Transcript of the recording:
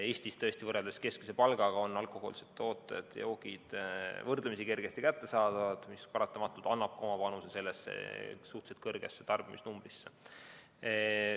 Eestis tõesti, võrreldes keskmise palgaga, on alkohoolsed joogid võrdlemisi kergesti kättesaadavad, mis paratamatult annab ka oma panuse suhteliselt kõrgesse tarbimisnumbrisse.